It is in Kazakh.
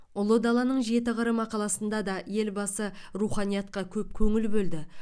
ұлы даланың жеті қыры мақаласында да елбасы руханиятқа көп көңіл бөлді